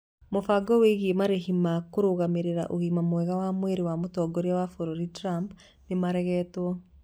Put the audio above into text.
Mũbango wĩigie marĩhi ma kũrũgamĩrĩra ũgima mwema wa mwĩrĩ wa mũtongoria wa bũrũri Trump nĩmaregetwo